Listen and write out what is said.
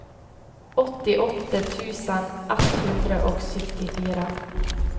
åttiåtte tusen ett hundre og syttifire